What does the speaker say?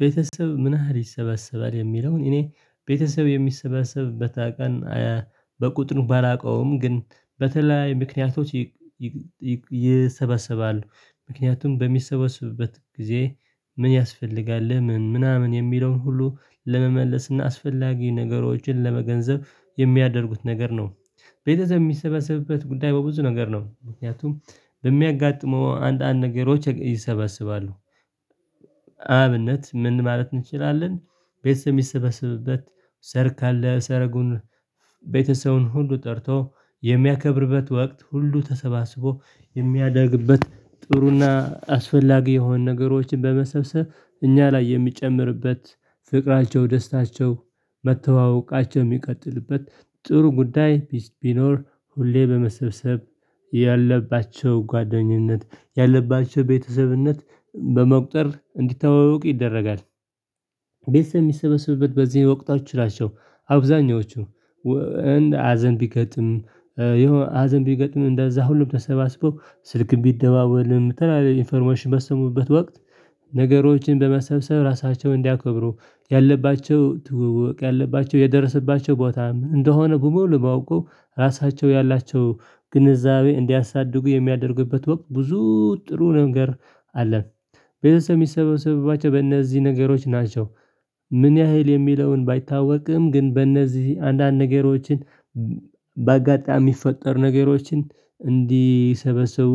ቤተሰብህ ምን ያህል ይሰበሰባል የሚለውን እኔ ቤተሰብ የሚሰበሰብበት ቀን በቁጥር ባላውቀውም ግን በተለያየ ምክንያቶች። ይሰበሰባሉ ምክንያቱም በሚሰበሰብበት ጊዜ ምን ያስፈልጋል ለምን ምናምን የሚለውን ሁሉ ለመመለስና አስፈላጊ ነገሮችን ለመገንዘብ የሚያደርጉት ነገር ነው። ቤተሰብ የሚሰበሰብበት ጉዳይ በብዙ ነገር ነው ምክንያቱም በሚያጋጥመው አንዳንድ ነገሮች ይሰበስባሉ። ለአብነት ምን ማለት እንችላለን። ቤተሰብ የሚሰባሰብበት ሰርግአለ ሰረጉን ቤተሰቡን ሁሉ ጠርቶ የሚያከብርበት ወቅት ሁሉ ተሰባስቦ የሚያደርግበት ጥሩና አስፈላጊ የሆኑ ነገሮችን በመሰብሰብ እኛ ላይ የሚጨምርበት ፍቅራቸው ደስታቸው መተዋወቃቸው የሚቀጥልበት ጥሩ ጉዳይ ቢኖር ሁሌ በመሰብሰብ ያለባቸው ጓደኝነት ያለባቸው ቤተሰብነት በመቁጠር እንዲተዋወቁ ይደረጋል። ቤተሰብ የሚሰባሰብበት በዚህ ወቅቶች ናቸው። አብዛኞቹ ሀዘን ቢገጥም የሆነ ሀዘን ቢገጥም እንደዛ ሁሉም ተሰባስበው ስልክም ቢደዋወልም የተለያየ ኢንፎርሜሽን በሰሙበት ወቅት ነገሮችን በመሰብሰብ ራሳቸውን እንዲያከብሩ ያለባቸው ትዉዉቅ ያለባቸው የደረሰባቸው ቦታ እንደሆነ በሙሉ ለማወቁ ራሳቸው ያላቸው ግንዛቤ እንዲያሳድጉ የሚያደርግበት ወቅት ብዙ ጥሩ ነገር አለን። ቤተሰብ የሚሰበሰብባቸው በእነዚህ ነገሮች ናቸው። ምን ያህል የሚለውን ባይታወቅም ግን በእነዚህ አንዳንድ ነገሮችን በአጋጣሚ የሚፈጠሩ ነገሮችን እንዲሰበሰቡ